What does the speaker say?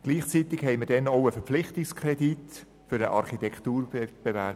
Gleichzeitig bewilligten wir damals einen Verpflichtungskredit für einen Architekturwettbewerb.